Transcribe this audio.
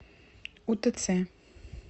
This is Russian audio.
утц